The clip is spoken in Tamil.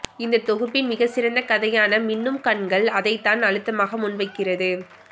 இந்தத் தொகுப்பின் மிகச்சிறந்த கதையான மின்னும் கண்கள் அதைத்தான் அழுத்தமாக முன்வைக்கிறது